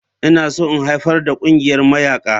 Ina so in haifar da ƙungiyar mayaƙa.